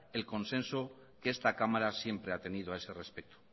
el consenso que esta cámara siempre ha tenido a ese respecto